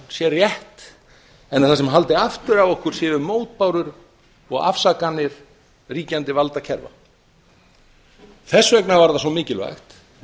sé rétt en að það sem haldi aftur af okkur séu mótbárur og afsakanir ríkjandi valdakerfa þess vegna var það svo mikilvægt